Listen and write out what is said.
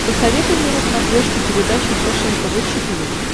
посоветуй мне на смотрешке передачу фэшен тв четыре к